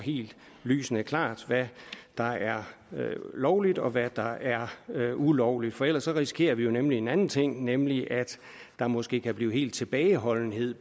lysende klart hvad der er lovligt og hvad der er ulovligt for ellers risikerer vi nemlig en anden ting nemlig at der måske kan blive tilbageholdenhed